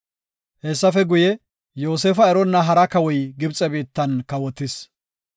Hessafe guye, Yoosefa eronna hara kawoy Gibxe biittan kawotis.